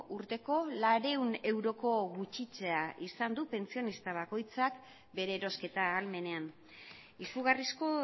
urteko laurehun euroko gutxitzea izan du pentsionista bakoitzak bere erosketa ahalmenean izugarrizko